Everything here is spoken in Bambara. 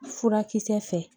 Furakisɛ fɛ